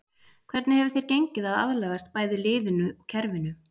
Hvernig hefur þér gengið að aðlagast bæði liðinu og kerfinu?